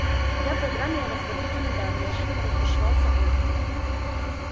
я программеров в обиду не дам неожиданно разбушевался он